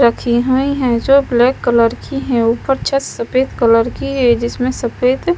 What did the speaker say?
रखी हुई है जो ब्लैक कलर की है ऊपर छत सफेद कलर की है जिसमें सफेद--